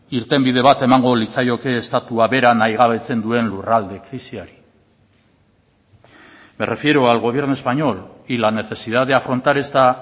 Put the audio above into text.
irtenbide bat emango litzaioke estatua bera nahigabetzen duen lurralde krisiari me refiero al gobierno español y la necesidad de afrontar esta